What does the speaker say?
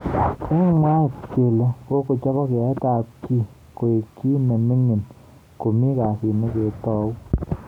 Eng mwaet kele kokochop yaet ab kii koek ki nemingingn komi kasit neketou.